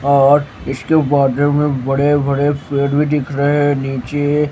और इसके बॉड मे बड़े बड़े पेड़ भी दिख रहे है नीचे--